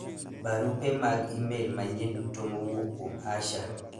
barupe mag email manyien duto mowuok kuom Asha